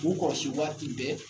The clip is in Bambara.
K'u kɔrɔsi waati bɛɛ